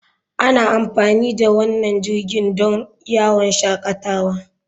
Ana amfani da wannan jirgin don yawon shakatawa.